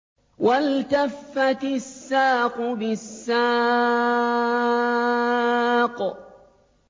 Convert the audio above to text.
وَالْتَفَّتِ السَّاقُ بِالسَّاقِ